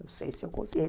Não sei se eu consigo.